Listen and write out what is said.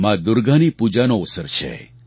મા દુર્ગાની પૂજાનો અવસર છે